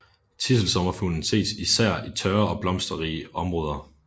Tidselsommerfuglen ses især i tørre og blomsterrige områder